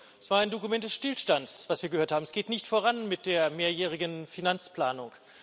Es war ein Dokument des Stillstands, was wir gehört haben. Es geht nicht voran mit der mehrjährigen Finanzplanung.